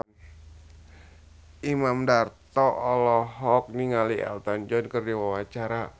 Imam Darto olohok ningali Elton John keur diwawancara